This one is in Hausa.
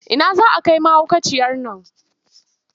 Ina za a kai mahaukaciyar nan?